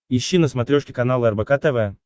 ищи на смотрешке канал рбк тв